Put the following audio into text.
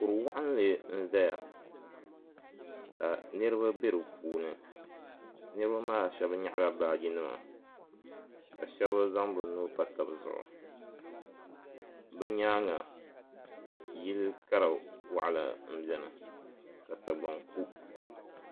Kuri waɣinli n zaya ka niriba be di puuni niriba maa shɛba nyaɣala baagi nima ka shɛba zaŋ bɛ nuu pa taba zuɣu bɛ nyaanga yili kara waɣala m beni ka sagbaŋ ku.